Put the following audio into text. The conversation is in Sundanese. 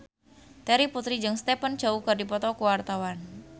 Terry Putri jeung Stephen Chow keur dipoto ku wartawan